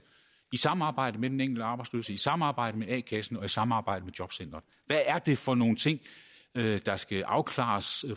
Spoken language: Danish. i samarbejde med den enkelte arbejdsløse i samarbejde med a kassen og i samarbejde med jobcenteret hvad er det for nogle ting der skal afklares